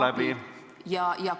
... vajalikul ajal abi?